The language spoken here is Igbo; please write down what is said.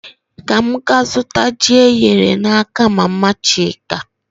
Ka m gaa zụta ji eghere n'aka mama Chika